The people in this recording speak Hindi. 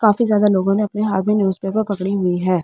काफी ज्यादा लोगों ने अपने हाथ में न्यूज़पेपर पकड़ी हुई है।